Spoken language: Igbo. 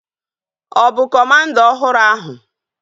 Ọ bụ kọmanda ọhụrụ ahu?